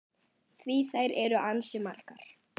Því þær eru ansi margar.